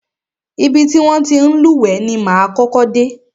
Ibi ti wọn ti ń lúwẹ̀ẹ́ ni máa kọ́kọ́ dé.